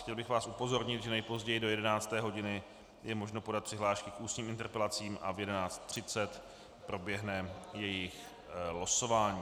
Chtěl bych vás upozornit, že nejpozději do 11. hodiny je možno podat přihlášky k ústním interpelacím a v 11.30 proběhne jejich losování.